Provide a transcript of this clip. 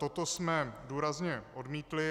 Toto jsme důrazně odmítli.